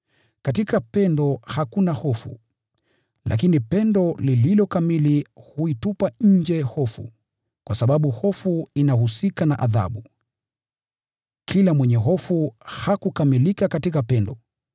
Katika pendo hakuna hofu. Lakini pendo lililo kamili huitupa nje hofu, kwa sababu hofu inahusika na adhabu. Kila mwenye hofu hakukamilika katika pendo.